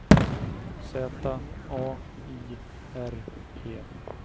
Z A I R E